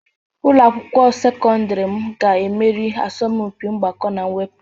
Ụlọ akwụkwọ sekọndrị m ga-emeri asọmpi mgbakọ na mwepụ.